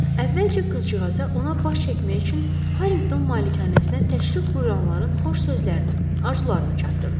Əvvəlcə qızcığaza ona baş çəkmək üçün Harinqton malikanəsinə təşrif buyuranların xoş sözlərini, arzularını çatdırdı.